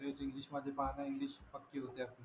English मध्ये पहा ना इंग्लिश पक्की होते आपली